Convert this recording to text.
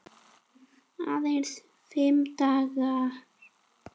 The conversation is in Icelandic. Aðeins fimm dagar.